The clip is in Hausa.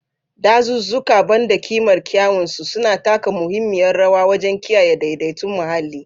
Dazuzzuka, ban da ƙimar kyawun su, suna taka muhimmiyar rawa wajen kiyaye daidaiton muhalli.